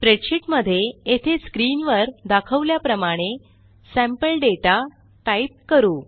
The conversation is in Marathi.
स्प्रेडशीट मध्ये येथे स्क्रीनवर दाखवल्याप्रमाणे सॅम्पल दाता टाईप करू